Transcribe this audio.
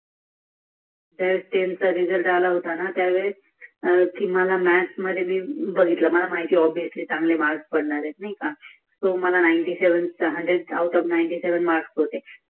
दहाव्वीचा निकाल आला होताना त्या वेळेस मग मी बघितला मला माहित होत कि मला चांगले मार्क पडणार आहेत नाही का मला शंभर पैकी सत्त्यानांव मार्क होते